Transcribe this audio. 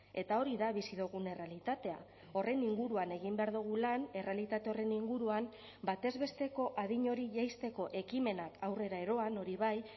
eta hori da bizi dugun errealitatea horren inguruan egin behar dugu lan errealitate horren inguruan batez besteko adin hori jaisteko ekimenak aurrera eroan hori bai